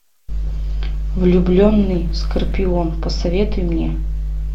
влюбленный скорпион посоветуй мне